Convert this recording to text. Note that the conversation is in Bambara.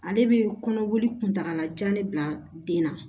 Ale bɛ kɔnɔboli kuntagalajan de bila den na